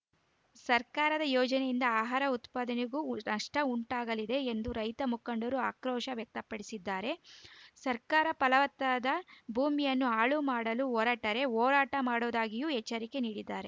ಸರ್ಕಾರದ ಯೋಜನೆಯಿಂದ ಆಹಾರ ಉತ್ಪಾದನೆಗೂ ನಷ್ಟಉಂಟಾಗಲಿದೆ ಎಂದು ರೈತ ಮುಖಂಡರು ಆಕ್ರೋಶ ವ್ಯಕ್ತಪಡಿಸಿದ್ದಾರೆ ಸರ್ಕಾರವು ಫಲವತ್ತಾದ ಭೂಮಿಯನ್ನು ಹಾಳು ಮಾಡಲು ಹೊರಟರೆ ಹೋರಾಟ ಮಾಡುವುದಾಗಿಯೂ ಎಚ್ಚರಿಕೆ ನೀಡಿದ್ದಾರೆ